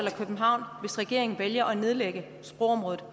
og københavn hvis regeringen vælger at nedlægge sprogområdet